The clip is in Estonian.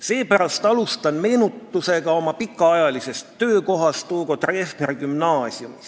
Seepärast alustan meenutusega oma pikaajalisest töökohast Hugo Treffneri Gümnaasiumis.